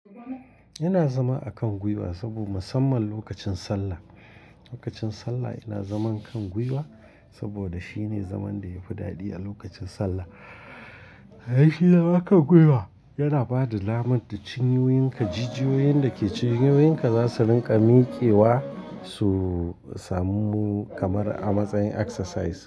Yana zama a kan gwiwa saboda musamman lokacin sallah. Lokacin sallah yana zaman kan gwiwa saboda shine zaman da yafi daɗi a lokacin sallah. Haka shi zaman a kan gwiwa yana bada lamar da cinyoyinka, jujjuyoyin da ke cinyoyinka za su rinƙa miƙewa, su samu kamar a matsayin exercise.